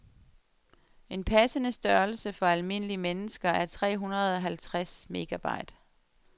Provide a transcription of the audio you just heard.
En passende størrelse for almindelige mennesker er tre hundrede halvtreds megabyte.